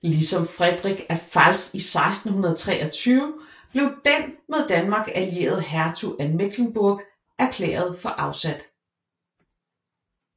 Ligesom Friedrich af Pfalz i 1623 blev den med Danmark allierede Hertug af Mecklenburg erklæret for afsat